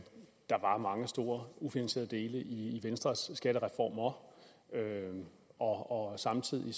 der var mange store ufinansierede dele i venstres skattereformer og samtidig